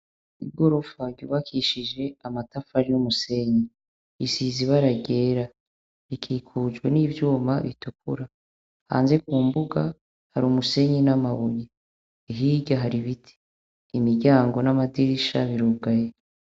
Igorofa ryubakishije amatafari n'umusenyi; isize ibara ryera. Ikikujwe n'ivyuma bitukura. Hanze ku mbuga, hari umusenyi n'amabuye. Hirya hari biti; imiryango n'amadirisha birugaye.